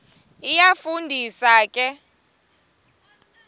iyafu ndisa ke